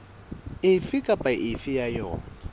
efe kapa efe ya yona